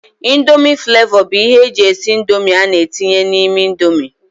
índomi flavó bụ ihe eji esị índomi ana etinye n' ime índomi.